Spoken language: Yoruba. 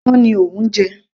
Sé iyán ni ò ń jẹ